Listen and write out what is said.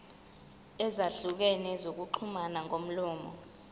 ezahlukene zokuxhumana ngomlomo